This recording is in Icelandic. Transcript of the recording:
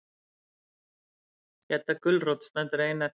Gedda gulrót stendur ein eftir.